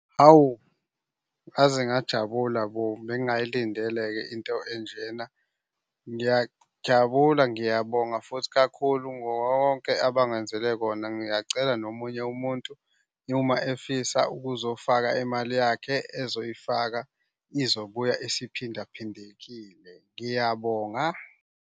Hawu ngaze ngajabula bo, bengingayilindele-ke into enjena. Ngiyajabula, ngiyabonga futhi kakhulu wonke abangenzele kona. Ngiyacela nomunye umuntu uma efisa ukuzofaka imali yakhe ezoyifaka izobuya isiphindaphindekile. Ngiyabonga.